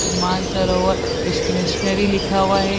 ते मानसरोवर स्टेशनरी लिखा हुआ है।